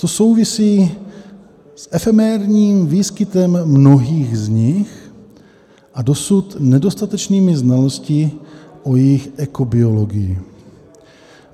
To souvisí s efemérním výskytem mnohých z nich a dosud nedostatečnými znalostmi o jejich ekobiologii.